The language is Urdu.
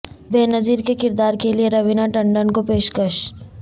بے نظیر کے کردار کیلئے روینہ ٹنڈ ن کو پیشکش